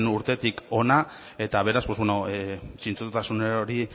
urtetik hona eta beraz zintzotasun hori